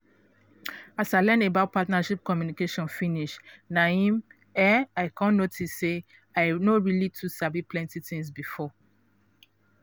as i learn about partner communication finish na em um i come notice say i no really too sabi plenty things before.